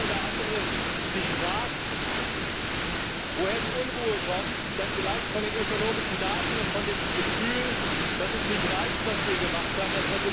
Wenn der eine oder andere sich fragt, woher die Unruhe kommt, dann vielleicht von den ökonomischen Daten und von dem Gefühl, dass es nicht reicht, was wir gemacht haben.